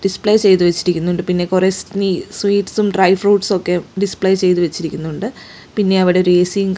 display ചെയ്തു വച്ചിരിക്കുന്നുണ്ട് പിന്നെ കുറെ സ്നീ സ്വീറ്റ്സും ഡ്രൈ ഫ്രൂട്ട്സും ഒക്കെ ഡിസ്പ്ലേ ചെയ്തു വച്ചിരിക്കുന്നുണ്ട് പിന്നെ അവിടെ എ_സിയും --